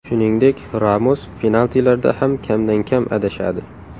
Shuningdek, Ramos penaltilarda ham kamdan kam adashadi.